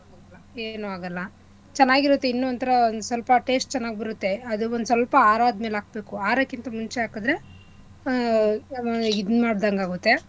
ಏನು ಆಗಲ್ಲ ಚೆನ್ನಾಗಿರುತ್ತೆ ಇನ್ನೂ ಒನ್ಥರಾ ಒನ್ಸ್ವಲ್ಪ taste ಚೆನ್ನಾಗ್ ಬರುತ್ತೆ ಅದ್ ಒನ್ಸ್ವಲ್ಪ ಆರದ್ಮೇಲೆ ಹಾಕ್ಬೇಕು ಆರಕ್ಕಿಂತ ಮುಂಚೆ ಹಾಕದ್ರೆ ಹ್ಮ್‌ ಹ್ಮ್‌ ಇದ್ ಮಾಡ್ದಂಗೆ ಆಗುತ್ತೆ.